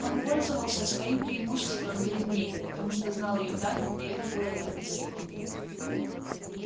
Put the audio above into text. он пользовался своим преимуществом перед ней потому что знал её тайну и это было невыносимо